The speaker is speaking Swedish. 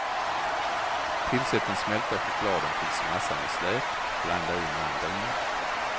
Tillsätt den smälta chokladen tills massan är slät, blanda i mandeln.